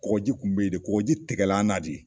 Kɔkɔji kun be yen de kɔkɔji tigɛla an na de.